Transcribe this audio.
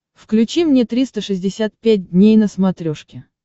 включи мне триста шестьдесят пять дней на смотрешке